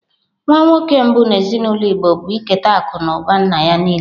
Nwa nwoke mbụ n'ezinaụlọ Igbo bụ iketa akụ na ụba nna ya niile.